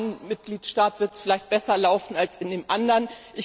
In einem Mitgliedstaat wird es vielleicht besser laufen als in einem anderen.